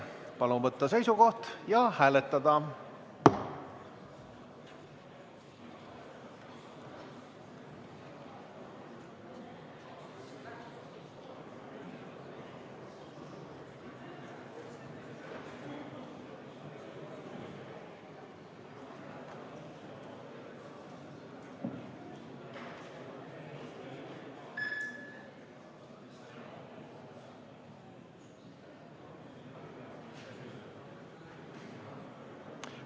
Palun võtta seisukoht ja hääletada!